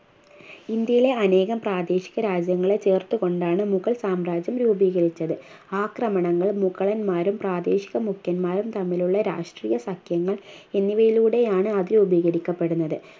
ഇന്ത്യയിലെ അനേകം പ്രാദേശിക രാജ്യങ്ങളെ ചേർത്തു കൊണ്ടാണ് മുഗൾ സാമ്രാജ്യം രൂപീകരിച്ചത് ആക്രമണങ്ങൾ മുഗളന്മാരും പ്രാദേശിക മുഖ്യന്മാരും തമ്മിലുള്ള രാഷ്ട്രീയ സഖ്യങ്ങൾ എന്നിവയിലൂടെയാണ് അത് രൂപീകരിക്കപ്പെടുന്നത്